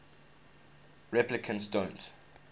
replicants don't